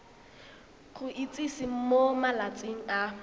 go itsise mo malatsing a